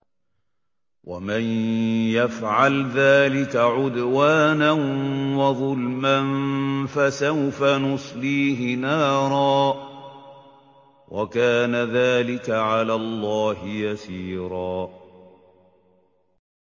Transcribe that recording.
وَمَن يَفْعَلْ ذَٰلِكَ عُدْوَانًا وَظُلْمًا فَسَوْفَ نُصْلِيهِ نَارًا ۚ وَكَانَ ذَٰلِكَ عَلَى اللَّهِ يَسِيرًا